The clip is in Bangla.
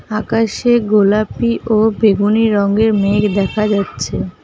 আকাশে গোলাপি ও বেগুনী রঙ্গের মেঘ দেখা যাচ্ছে।